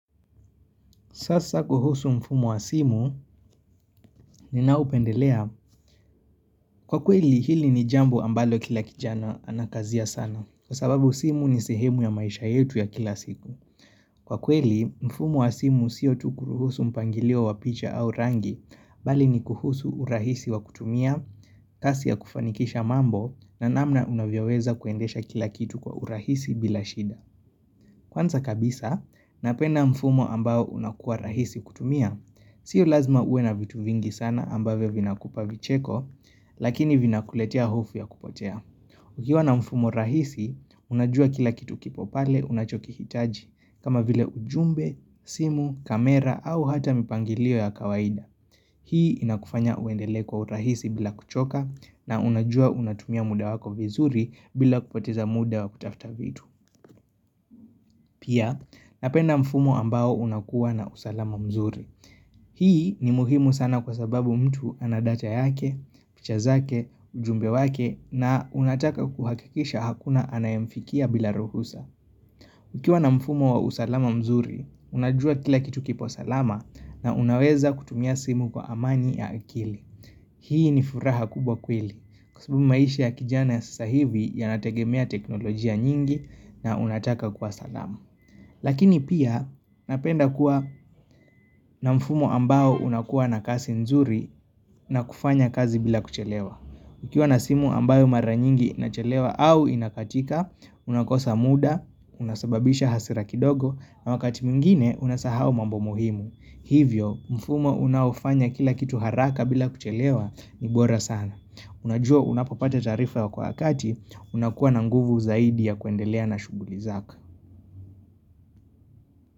Sasa kuhusu mfumu wa simu, ninaupendelea. Kwa kweli, hili ni jambo ambalo kila kijana anakazia sana. Kwa sababu simu ni sehemu ya maisha yetu ya kila siku. Kwa kweli, mfumu wa simu siyo tukuruhusu mpangilio wa picha au rangi, bali ni kuhusu urahisi wa kutumia, kasi ya kufanikisha mambo, na namna unavyaweza kuendesha kila kitu kwa urahisi bila shida. Kwanza kabisa, napenda mfumu ambao unakuwa rahisi kutumia, sio lazima uwe na vitu vingi sana ambave vinakupa vicheko, lakini vinakuletia hufu ya kupotea. Ukiwa na mfumo rahisi, unajua kila kitu kipo pale unachoki hitaji, kama vile ujumbe, simu, kamera au hata mipangilio ya kawaida. Hii inakufanya uendele kwa urahisi bila kuchoka na unajua unatumia muda wako vizuri bila kupoteza muda wa kutafuta vitu. Pia, napenda mfumo ambao unakuwa na usalama mzuri. Hii ni muhimu sana kwa sababu mtu anadacha yake, kichazake, ujumbe wake na unataka kuhakikisha hakuna anayemfikia bila ruhusa. Ukiwa na mfumo wa usalama mzuri, unajua kila kitu kipo salama na unaweza kutumia simu kwa amani ya akili. Hii ni furaha kubwa kweli kusibu maisha ya kijane sasa hivi ya nategemea teknolojia nyingi na unataka kwa salama. Lakini pia napenda kuwa na mfumo ambao unakuwa na kasi nzuri na kufanya kazi bila kuchelewa. Ukiwa na simu ambayo mara nyingi na chelewa au inakatika, unakosa muda, unasababisha hasira kidogo, na wakati mingine unasahau mambo muhimu. Hivyo, mfumo unaufanya kila kitu haraka bila kuchelewa ni bora sana. Unajua unapapata taarifa wakati unakuwa na nguvu zaidi ya kuendelea na shughuli zaka.